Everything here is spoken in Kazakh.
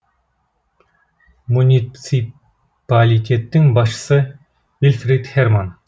муниципалитеттің басшысы вильфрид херман